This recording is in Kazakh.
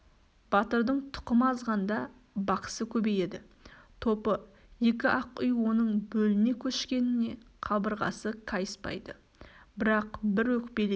батырдың тұқымы азғанда бақсы көбейеді топы екі-ақ үй оның бөліне көшкеніне қабырғасы кайыспайды бірақ бір өкпелеген